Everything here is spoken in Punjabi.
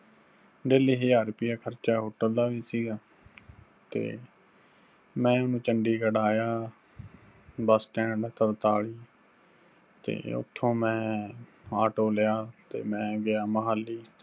daily ਹਜ਼ਾਰ ਰੁਪਈਆ ਖ਼ਰਚਾ hotel ਦਾ ਵੀ ਸਿਗਾ। ਤੇ ਮੈਂ ਹੁਣ ਚੰਡੀਗੜ੍ਹ ਆਇਆ bus stand ਤਰਤਾਲੀ ਤੇ ਉੱਥੋਂ ਮੈਂ auto ਲਿਆ ਤੇ ਮੈਂ ਗਿਆ ਮੁਹਾਲੀ